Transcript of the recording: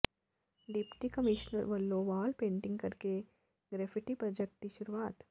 deputy commissioner ਵੱਲੋਂ wall painting ਕਰਕੇ graffiti project ਦੀ ਸ਼ੁਰੂਆਤ